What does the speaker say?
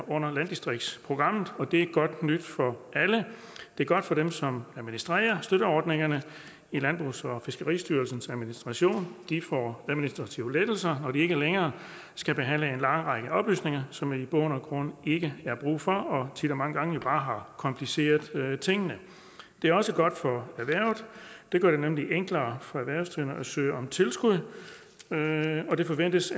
under landdistriktsprogrammet og det er godt nyt for alle det godt for dem som administrerer støtteordningerne i landbrugs og fiskeristyrelsens administration de får administrative lettelser når de ikke længere skal behandle en lang række oplysninger som der er i bund og grund ikke er brug for og tit og mange gange jo bare har kompliceret tingene det er også godt for erhvervet det gør det nemlig enklere for erhvervsdrivende at søge om tilskud og det forventes